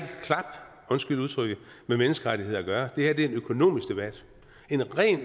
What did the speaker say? klap undskyld udtrykket med menneskerettigheder at gøre det her er en økonomisk debat